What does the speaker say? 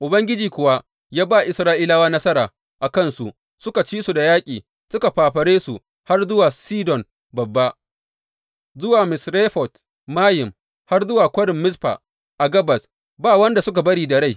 Ubangiji kuwa ya ba Isra’ilawa nasara a kan su, suka ci su da yaƙi, suka fafare su har zuwa Sidon Babba, zuwa Misrefot Mayim, har zuwa Kwarin Mizfa a gabas, ba wanda suka bari da rai.